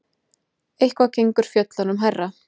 Eitthvað gengur fjöllunum hærra